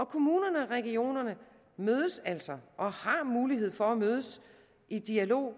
kommunerne og regionerne mødes altså og har mulighed for at mødes i dialog